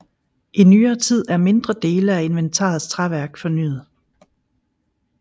I nyere tid er mindre dele af inventarets træværk fornyet